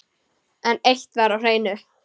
En eitt var á hreinu.